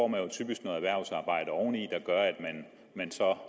man jo typisk noget erhvervsarbejde oveni at man så